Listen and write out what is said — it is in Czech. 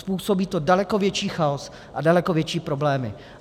Způsobí to daleko větší chaos a daleko větší problémy.